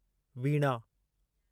वीणा